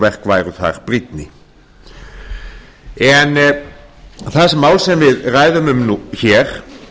verk væru þar brýnni þessi mál sem við ræðum um hér